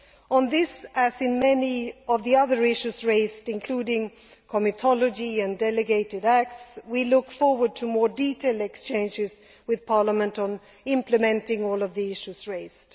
On this, as in many of the other issues raised including comitology and delegated acts we look forward to more detailed exchanges with Parliament on implementing all of the issues raised.